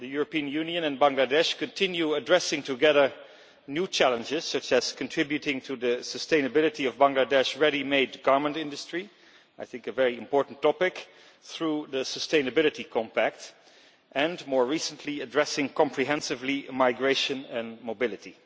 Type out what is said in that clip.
The EU and Bangladesh continue addressing together new challenges, such as contributing to the sustainability of the Bangladesh ready made garment industry, a very important topic I think, through the Sustainability Compact and, more recently, addressing comprehensively migration and mobility.